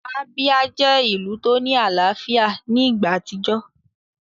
Abia jẹ́ ìlù tó ní àlàáfíà ní ìgbà àtijọ́